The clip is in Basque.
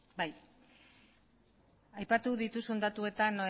bai aipatu dituzun datuetan